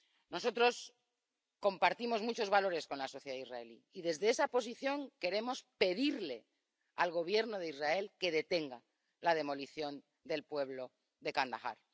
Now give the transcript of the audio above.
Nosotros compartimos muchos valores con la sociedad israelí y, desde esa posición, queremos pedirle al Gobierno de Israel que detenga la demolición del pueblo de Jan al Ahmar.